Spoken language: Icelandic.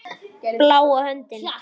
Bláa höndin.